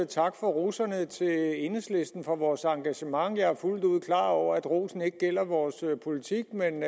tak for roserne til enhedslisten for vores engagement jeg er fuldt ud klar over at rosen ikke gælder vores politik men